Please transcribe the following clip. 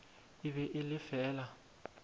e be e le fela